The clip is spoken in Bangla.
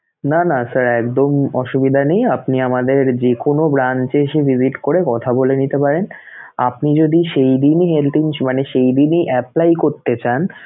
না না sir একদম অসুবিধা নেই আপনি আমাদের যেকোনো branch এ এসে visit করে কথা বলে নিতে পারেন আপনি যদি সেইদিনই health মানে সেইদিনই apply করতে চান